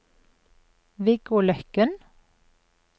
Viggo Løkken